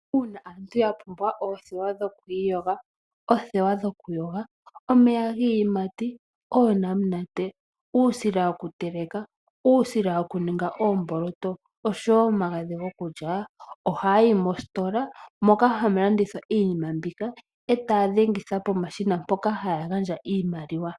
Uuna aantu ya pumbwa oothewa ,omeya giiyimati ,oonamunate uusila wokuteleka ,uusila woku ninga oomboloto oshowo omagadhi gokulya ohaayi mositola moka hamulandithwa iinima mbika eta dhengitha pomashina mpoka haa gandja iimaliwa.